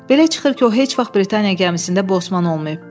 Belə çıxır ki, o heç vaxt Britaniya gəmisində Bosman olmayıb.